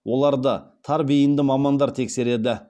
оларды тар бейінді мамандар тексереді